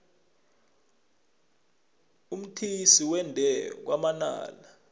umthise wenda kwamanala